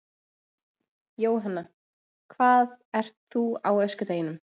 Jóhanna: Hvað ert þú á öskudeginum?